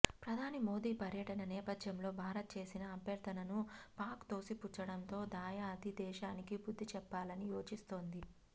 ప్రధాని మోదీ పర్యటన నేపథ్యంలో భారత్ చేసిన అభ్యర్థనను పాక్ తోసిపుచ్చడంతో దాయాది దేశానికి బుద్ధి చెప్పాలని యోచిస్తోంది